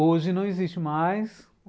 Hoje, não existe mais.